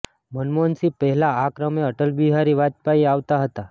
મનમોહન સિંહ પહેલા આ ક્રમે અટલ બિહારી વાજપેયી આવતા હતા